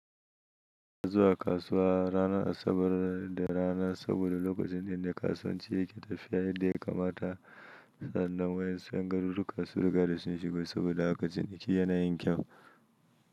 Ka zuwa kasuwa ranar Asabar da rana saboda lokacin da ne kasuwanci yake tafiya yadda ya kamata sadannan wa ƴen su en garuru ka sun riga da sun shigo saboda a katin ki yana yin kyau.